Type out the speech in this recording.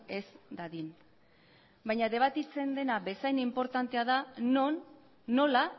ez dadin baina debatitzen dena bezain inportantea da non nola